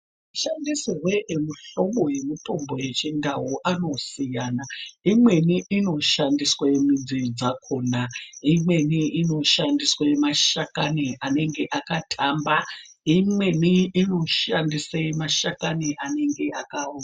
Mashandisirwe emuhlobo yemitombo yechindau anosiyana imweni inoshandiswa midzi dzakona imweni inoshandiswa mashakani anenge akatamba, imweni inoshandisa mashakani anenge akaoma.